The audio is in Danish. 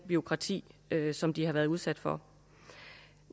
bureaukrati som de har været udsat for